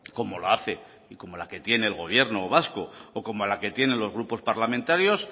como lo hace y como la que tiene el gobierno vasco o como la que tienen los grupos parlamentarios